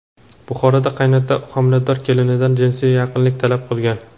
Buxoroda qaynota homilador kelinidan jinsiy yaqinlik talab qilgan.